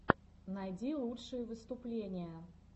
найди лучшие выступления